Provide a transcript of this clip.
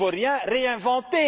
Il ne faut rien réinventer.